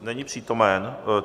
Není přítomen.